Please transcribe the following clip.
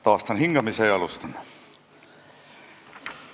Taastan hingamise ja alustan.